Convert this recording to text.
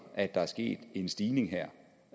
at der er sket en stigning her